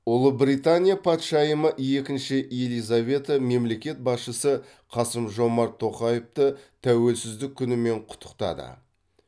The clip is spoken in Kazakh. ұлыбритания патшайымы екінші елизавета мемлекет басшысы қасым жомарт тоқаевты тәуелсіздік күнімен құттықтады